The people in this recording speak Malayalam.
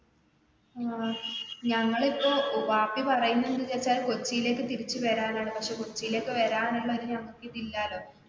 ഞങ്ങൾ ഇപ്പൊ വാപ്പി പറയുന്നത് എന്താണെന്നു വെച്ചാൽ കൊച്ചിലേക്ക് തിരിച്ചു വരാൻ ആണ് പക്ഷെ കൊച്ചിലേക്ക് വരാൻ ഉള്ള ഒരു ഞങ്ങൾക്ക് ഇത് ഇല്ലാലോ.